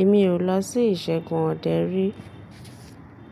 Èmi ò lọ sí ìṣègùn ọdẹ rí.